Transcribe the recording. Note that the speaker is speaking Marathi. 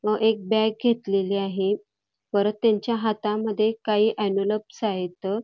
व एक बॅग घेतलेली आहे परत त्यांच्या हातामध्ये काही इन्व्हलप आहेत.